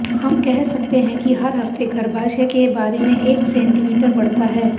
हम कह सकते हैं कि हर हफ्ते गर्भाशय के बारे में एक सेंटीमीटर बढ़ता है